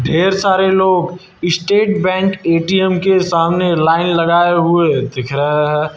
ढेर सारे लोग स्टेट बैंक ए_टी_एम के सामने लाइन लगाए हुए दिख रहे हैं।